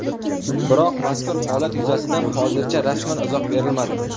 Biroq mazkur holat yuzasidan hozircha rasman izoh berilmadi.